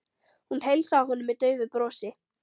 Hún heilsaði honum með daufu brosi.